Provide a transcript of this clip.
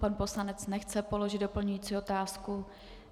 Pan poslanec nechce položit doplňující otázku.